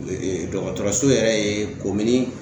dɔgɔtɔrɔso yɛrɛ ye komini